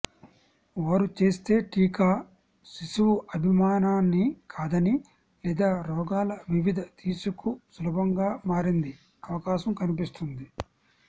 వారు చేస్తే టీకా శిశువు అభిమానాన్ని కాదని లేదా రోగాల వివిధ తీసుకు సులభంగా మారింది అవకాశం కనిపిస్తుంది